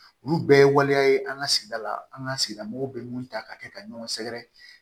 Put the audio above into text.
Olu bɛɛ ye waleya ye an ka sigida la an ka sigida mɔgɔw bɛ mun ta ka kɛ ka ɲɔgɔn sɛgɛrɛ